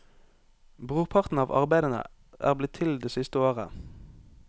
Brorparten av arbeidene er blitt til det siste året.